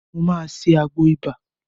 Mo máa ṣe àgbo ibà